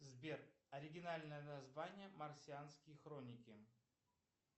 сбер оригинальное название марсианские хроники